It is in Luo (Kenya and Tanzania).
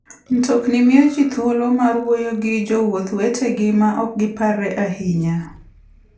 Mtokni miyo ji thuolo mar wuoyo gi jowuoth wetegi maok giparre ahinya.